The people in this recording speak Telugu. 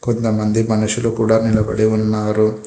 కొంతమంది మనుషులు కూడా నిలబడి ఉన్నారు.